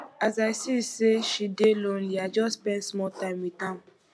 as i see sey she dey lonely i just spend small time wit am